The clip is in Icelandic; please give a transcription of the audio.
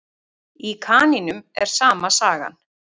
Í kanínum er sama sagan.